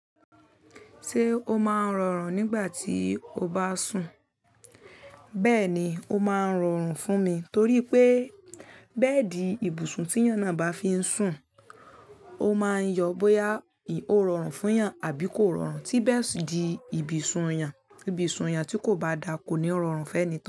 Ṣé o máa ń rọrùn nígbà tí o bá sùn? Bẹ́ẹ̀ni, o máa ń rọrùn fún mi torí pé bẹ́ẹ̀di ibùsùn tí eeyán náà bá fi ń sùn, o máa ń yọ bóyá ó rọrùn fún èèyàn àbí kò rọrùn. Tí bẹ́ẹ̀di ibùsùn èèyàn, ibùsùn èèyàn tí kò bá da ko ni rọrùn fún eni tó.